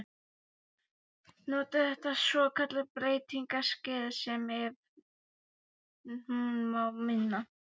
Noti þetta svokallaða breytingaskeið- sem, ef hún má minna